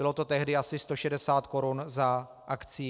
Bylo to tehdy asi 160 korun za akcii.